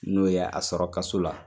N'o ye a sɔrɔ kaso la